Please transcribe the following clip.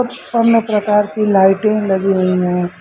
कुछ अन्य प्रकार की लाइटें लगी हुई हैं।